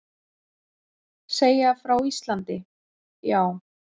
Segja frá Íslandi, já.